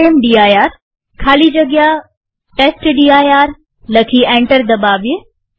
રામદીર ખાલી જગ્યા ટેસ્ટડિર લખી એન્ટર દબાવીએ